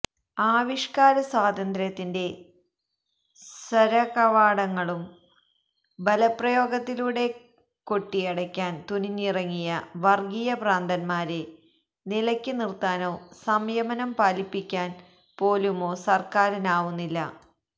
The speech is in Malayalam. ആവിഷ്കാര സ്വാതന്ത്ര്യത്തിന്റെ സര്വ കവാടങ്ങളും ബലപ്രയോഗത്തിലൂടെ കൊട്ടിയടക്കാന് തുനിഞ്ഞിറങ്ങിയ വര്ഗീയ ഭ്രാന്തമാരെ നിലക്ക് നിര്ത്താനോ സംയമനം പാലിപ്പിക്കാന് പോലുമോ സര്ക്കാനാവുന്നില്ല